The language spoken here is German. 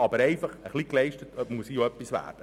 Aber auch hier muss etwas geleistet werden.